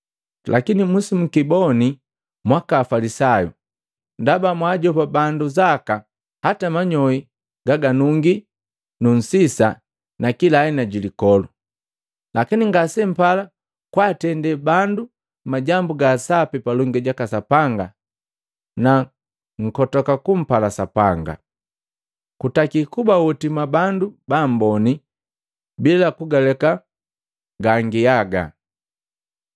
“Lakini musi mukiboni mwaka Mafalisayu! Ndaba mwaajopa bandu zaka hata manyoi gaganungi nunsisa nakila aina jilikolu, lakini ngasempala kwaatende bandu majambu ga sapi palongi jaka Sapanga na nkotoka kumpala Sapanga. Kutaki kuba hoti mwabandu baamboni bila kugaleka gangiaga.